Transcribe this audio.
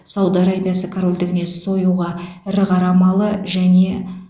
сауд арабиясы корольдігіне союға ірі қара малы және